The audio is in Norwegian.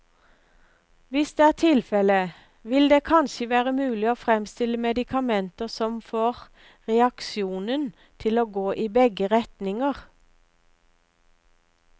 Hvis det er tilfelle, vil det kanskje være mulig å fremstille medikamenter som får reaksjonen til å gå i begge retninger.